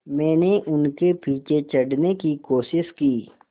मैंने उनके पीछे चढ़ने की कोशिश की